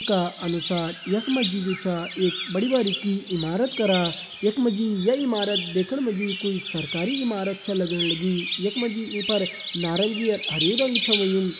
का अनुसार यख मा जी जु छा एक बड़ी बारीकी इमारत करा यख मा जी ये इमारत देखण मा जी कुई सरकारी इमारत छा लगण लगीं यख मा जी ई पर नारंगी अर हरयूं रंग छा होयुं।